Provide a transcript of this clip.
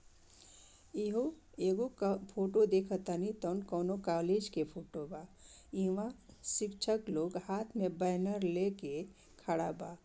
इहो एगो क फोटो देखातानी तोन कोनो कॉलेज के फोटो बा इमे शिक्षक लोग हाथ में बैनर ले के खड़ा बा।